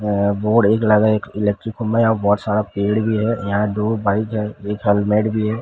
अ board एक लगा एक इलेक्ट्रिकल खंभा यहां बहोत सारा पेड़ भी है यहां दो बाइक है एक हेलमेट भी है।